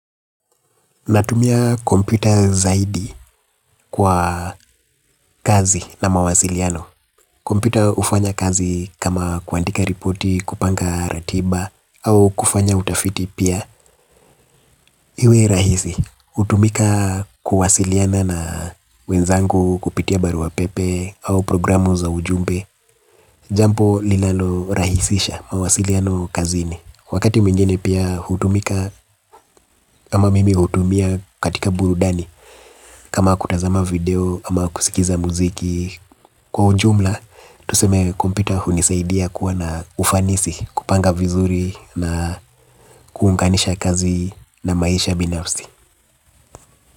Natumia kompyuta zaidi kwa kazi na mawasiliano. Kompyuta hufanya kazi kama kuandika ripoti, kupanga ratiba au kufanya utafiti pia. Iwe rahisi hutumika kuwasiliana na wenzangu kupitia barua pepe au programu za ujumbe. Jambo linano rahisisha mawasiliano kazini. Wakati mwingine pia hutumika. Ama mimi hutumia katika burudani. Kama kutazama video ama kusikiza mziki. Kwa ujumla, tuseme kompyuta hunisaidia kuwa na ufanisi. Kupanga vizuri na kuunganisha kazi na maisha binafsi.